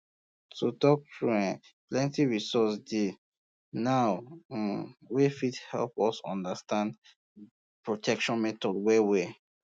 to talk true eh plenty resources dey um now um wey fit help us understand protection methods well well